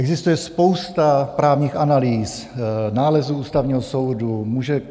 Existuje spousta právních analýz, nálezů Ústavního soudu.